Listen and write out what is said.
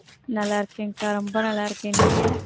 நல்லா இருக்கேன்கா ரொம்ப நல்லா இருக்கேன் நீங்க